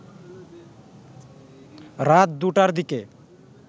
রাত ২টার দিকে